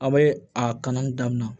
An bɛ a kanni daminɛ